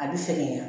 A bɛ fɛ de yan